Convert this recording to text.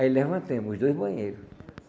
Aí levantamos os dois banheiro.